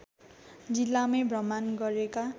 जिल्लामै भ्रमण गरेका